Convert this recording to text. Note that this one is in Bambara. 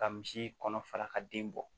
Ka misi kɔnɔ fara ka den bɔ